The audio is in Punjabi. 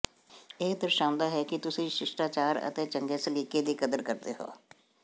ਇਹ ਦਰਸਾਉਂਦਾ ਹੈ ਕਿ ਤੁਸੀਂ ਸ਼ਿਸ਼ਟਾਚਾਰ ਅਤੇ ਚੰਗੇ ਸਲੀਕੇ ਦੀ ਕਦਰ ਕਰਦੇ ਹੋ